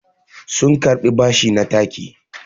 sun karɓi bashi na taki